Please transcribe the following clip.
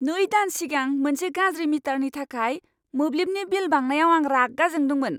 नै दान सिगां मोनसे गाज्रि मिटारनि थाखाय मोब्लिबनि बिल बांनायाव आं रागा जोंदोंमोन।